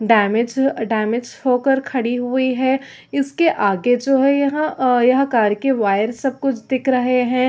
Damage damage होकर खड़ी हुई है इसके आगे जो है यहाँ आ यह कार के वायर सब कुछ दिख रहे है।